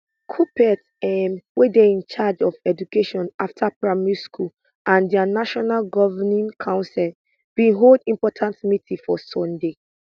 kuppet um wey dey in charge of education afta primary school and dia national governing council bin hold important meeting for sunday